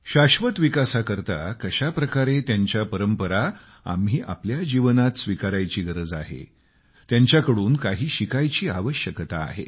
शाश्वत विकासाकरता कशा प्रकारे आम्ही त्यांच्या परंपरा आम्ही आपल्या जीवनात स्वीकारायची गरज आहे त्यांच्याकडून काही शिकायची आवश्यकता आहे